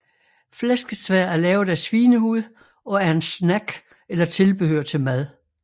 Flæskesvær er lavet af svinehud og er en snack eller tilbehør til mad